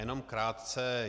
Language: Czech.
Jenom krátce.